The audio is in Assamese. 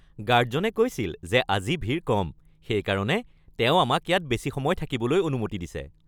গাৰ্ডজনে কৈছিল যে আজি ভিৰ কম। সেইকাৰণে তেওঁ আমাক ইয়াত বেছি সময় থাকিবলৈ অনুমতি দিছে।